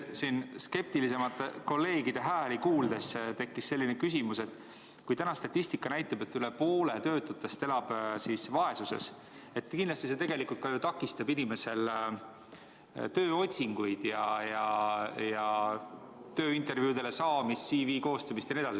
Siin skeptilisemate kolleegide hääli kuuldes tekkis mul selline küsimus, et kui täna statistika näitab, et üle poole töötutest elab vaesuses, siis kindlasti see tegelikult takistab inimesel tööotsinguid ja tööintervjuudele saamist, CV koostamist jne.